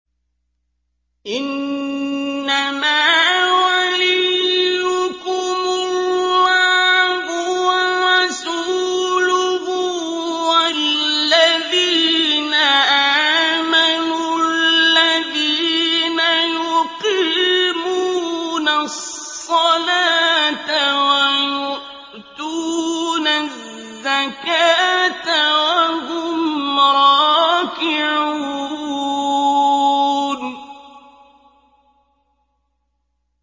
إِنَّمَا وَلِيُّكُمُ اللَّهُ وَرَسُولُهُ وَالَّذِينَ آمَنُوا الَّذِينَ يُقِيمُونَ الصَّلَاةَ وَيُؤْتُونَ الزَّكَاةَ وَهُمْ رَاكِعُونَ